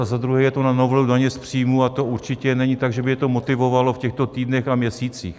A za druhé, je to na novelu daně z příjmů, a to určitě není tak, že by je to motivovalo v těchto týdnech a měsících.